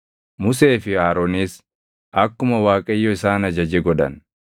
Musee fi Aroonis akkuma Waaqayyo isaan ajaje godhan.